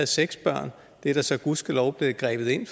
seks børn det er der så gudskelov blevet grebet ind